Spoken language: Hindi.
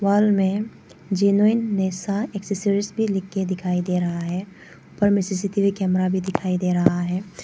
हाल में जेनुइन नेक्सा एसेसरीज भी लिखकर दिखाई दे रहा है सी_सी_टी_वी कैमरा भी दिखाई दे रहा है।